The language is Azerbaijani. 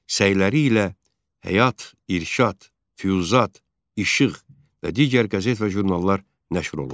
Səyləri ilə Həyat, İrşad, Füzyat, İşığ və digər qəzet və jurnallar nəşr olundu.